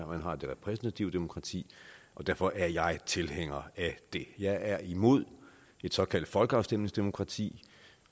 man har det repræsentative demokrati og derfor er jeg tilhænger af det jeg er imod et såkaldt folkeafstemningsdemokrati